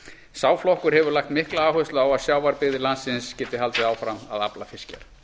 sá flokkur hefur lagt mikla áherslu á að sjávarbyggðir landsins geti haldið áfram að afla fiskjar